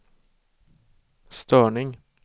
störning